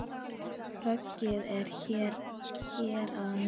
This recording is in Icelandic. Höggið er hér að neðan.